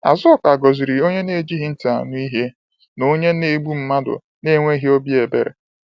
Azuka ghọziri onye na-ejighị ntị anụ ihe, na onye na-egbu mmadụ na-enweghị obi ebere.